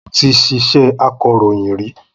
Mo ti ṣiṣẹ́ akọ̀ròyìn rí.